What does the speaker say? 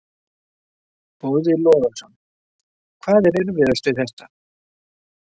Boði Logason: Hvað er erfiðast við þetta?